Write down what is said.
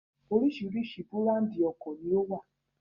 Oríṣiríṣi búráńdì ọ̀kọ̀ ni ó wà.